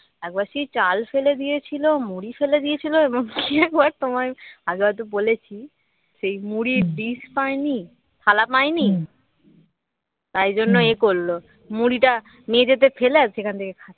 একবার সেই চাল ফেলে দিয়েছিল মুড়ি ফেলে দিয়েছিল এবং কি একবার তোমার আগে হয়ত বলেছি সেই মুড়ির ডিস পায়নি থালা পায়নি তাই জন্য এ করলো মুড়িটা মেঝেতে ফেলে আর ওখান থেকে খাচ্ছে